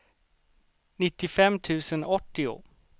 nittiofem tusen åttio